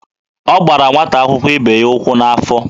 Ọ gbara nwata akwụkwọ ibe ya ụkwụ n'afọ.